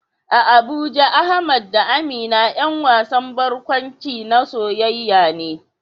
A Abuja Ahmad da Amina ƴan wasan barkwanci na soyayya ne